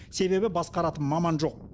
себебі басқаратын маман жоқ